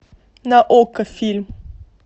на окко фильм